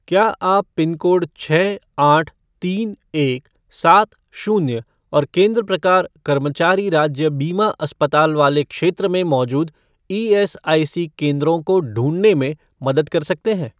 क्या आप पिनकोड छः आठ तीन एक सात शून्य और केंद्र प्रकार कर्मचारी राज्य बीमा अस्पताल वाले क्षेत्र में मौजूद ईएसआईसी केंद्रों को ढूँढने में मदद कर सकते हैं?